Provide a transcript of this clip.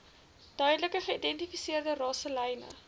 duidelik geïdentifiseerde rasselyne